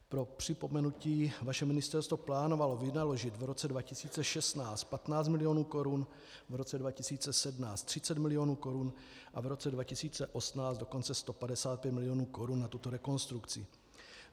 Pro připomenutí, vaše ministerstvo plánovalo vynaložit v roce 2016 15 milionů korun, v roce 2017 30 milionů korun a v roce 2018 dokonce 155 milionů korun na tuto rekonstrukci.